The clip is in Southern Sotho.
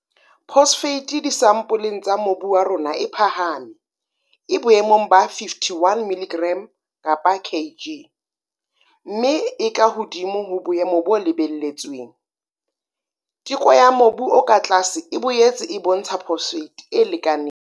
Phosphate disampoleng tsa mobu wa rona e phahame, e boemong ba 51 mg kapa Kg, mme e ka hodimo ho boemo bo lebelletsweng. Teko ya mobu o ka tlase e boetse e bontsha phosphate e lekaneng.